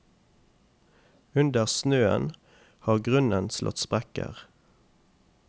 Under snøen har grunnen slått sprekker.